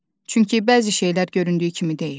Çünki bəzi şeylər göründüyü kimi deyil.